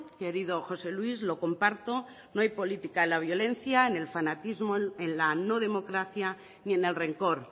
querido josé luis lo comparto no hay política en la violencia en el fanatismo en la no democracia ni en el rencor